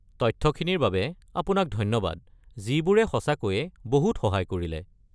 তথ্যখিনিৰ বাবে আপোনাক ধন্যবাদ যিবোৰে সঁচাকৈয়ে বহুত সহায় কৰিলে।